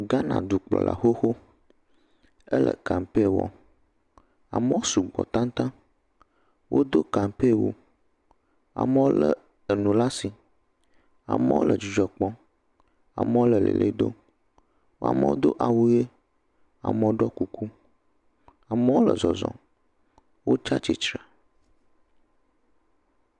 Ghane dukplɔla xoxo, ele kampe wɔm, amewo sugbɔ tataŋ, wodo kampewu, amewo lé enu le asi, amewo le dzidzɔ kpɔm, amewo le lele dom, amewo do awu ʋe, amewo ɖɔ kuku, amewo le zɔzɔ, wo tsatsitre.